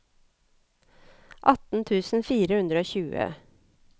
atten tusen fire hundre og tjue